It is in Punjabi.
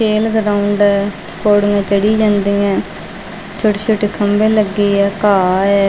ਖੇਲ ਗਰਾਊਂਡ ਪੌੜੀਆਂ ਚੜ੍ਹੀ ਜਾਂਦੀ ਹੈਂ ਛੋਟੇ ਛੋਟੇ ਖੰਭੇ ਲੱਗੇ ਹੈ ਘਾਹ ਹੈ।